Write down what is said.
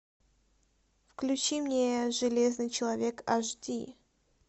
включи мне железный человек аш ди